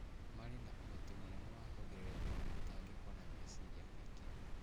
Marĩ na ũhoti mũnene wa kũgirĩrĩria mĩtangĩko na meciria maingĩ.